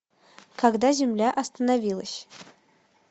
когда земля остановилась